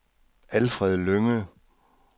Alfred Lynge